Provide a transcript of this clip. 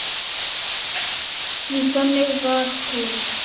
Því þannig var hún.